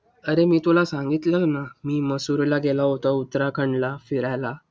अरे मी तुला सांगितलं ना, मी मसुरीला गेला होतो उत्तराखंडला फिरायला.